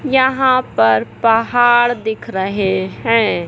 यहाँ पर पहाड़ दिख रहें हैं।